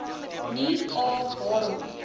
nie a waarom